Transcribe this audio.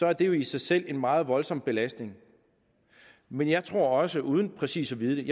er det jo i sig selv en meget voldsom belastning men jeg tror også uden præcis at vide